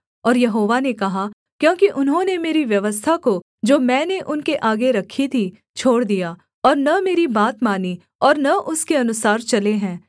और यहोवा ने कहा क्योंकि उन्होंने मेरी व्यवस्था को जो मैंने उनके आगे रखी थी छोड़ दिया और न मेरी बात मानी और न उसके अनुसार चले हैं